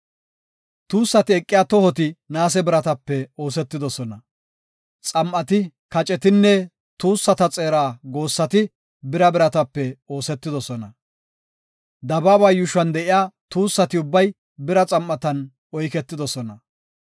Tuussati eqiya tohoti naase biratape oosetidosona. Xam7ati, kacetinne tuussata xeera goossati bira biratape oosetidosona. Dabaaba yuushuwan de7iya tuussati ubbay bira xam7atan oyketidosona.